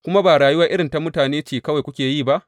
Kuma ba rayuwa irin ta mutane ce kawai kuke yi ba?